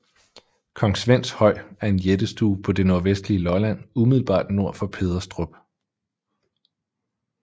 Kong Svends Høj er en jættestue på det nordvestlige Lolland umiddelbart nord for Pederstrup